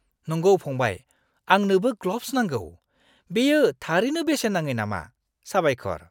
नंगौ फंबाय, आंनोबो ग्ल'ब्स नांगौ। बेयो थारैनो बेसेन नाङै नामा? साबायखर!